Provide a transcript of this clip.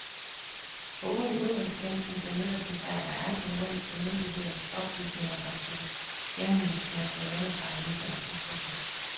Foruden udenrigstjenesten benytter de sig af andre nordiske myndigheders oplysninger og tilgængeligt materiale fra aviser og tidsskrifter.